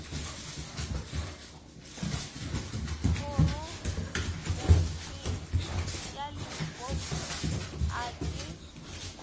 phorobentsheng ya limpopo a ke